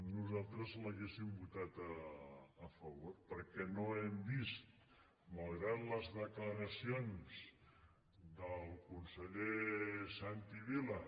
nosaltres l’hauríem votat a favor perquè no hem vist malgrat les declaracions del conseller santi vila